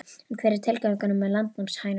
En hver er tilgangurinn með landnámshænunum?